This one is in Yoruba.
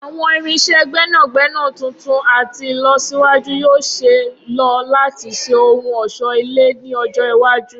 Awọn irinṣẹ gbẹnagbẹna tuntun ati ilọsiwaju yoo ṣee lo lati ṣe ohun ọṣọ-ile ni ọjọ iwaju.